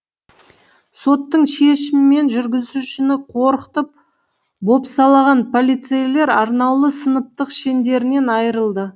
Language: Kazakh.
соттың шешімімен жүргізушіні қорқытып бопсалаған полицейлер арнаулы сыныптық шендерінен айырылды